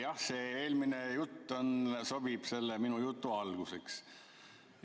Jah, see eelmine jutt sobib minu jutu alguseks.